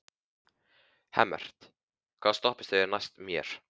Hemmert, hvaða stoppistöð er næst mér?